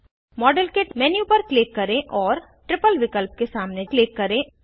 model kit menu पर click करें और ट्रिपल विकल्प के सामने क्लिक करें